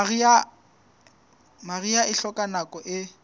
mariha e hloka nako e